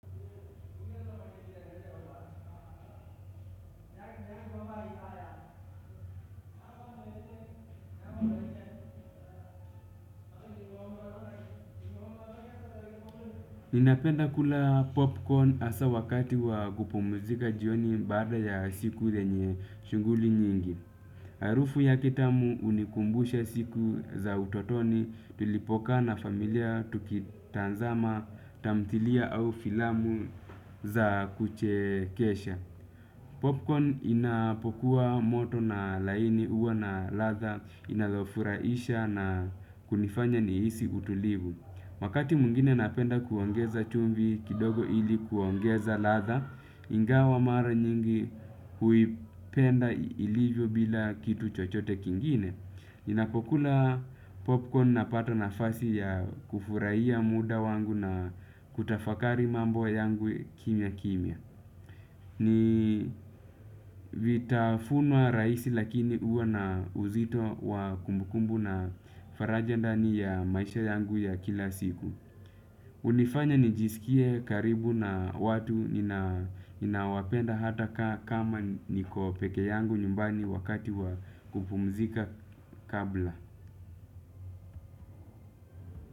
Wakati wa kupumzika jioni baada ya siku lenye shuguli nyingi. Harufu yake tamu unikumbusha siku za utotoni tulipokaa na familia tukitazama tamthilia au filamu za kuchekesha. Popcorn inapokuwa moto na laini uwa na latha inalofuraisha na kunifanya nihisi kutulivu. Wakati mwingine napenda kuongeza chumvi kidogo ili kuongeza ladha. Ingawa mara nyingi huipenda ilivyo bila kitu chochote kingine. Ninapokula popcorn napata nafasi ya kufuraihia muda wangu na kutafakari mambo yangu kimya kimya. Ni vitafunwa raisi lakini huwa na uzito wa kumbukumbu na faraja ndani ya maisha yangu ya kila siku. Unifanya nijisikie karibu na watu ninaowapenda hata kama niko peke yangu nyumbani wakati wa kupumzika kabla.